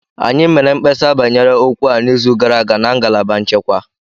Anyị mere mkpesa banyere okwu a n'izu gara aga na ngalaba nchekwa